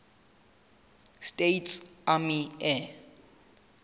states army air